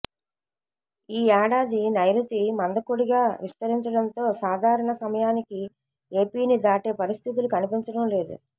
ఈ ఏడాది నైరుతి మందకొడిగా విస్తరించడంతో సాధారణ సమయానికి ఎపిని దాటే పరిస్థితులు కనిపించడం లేదు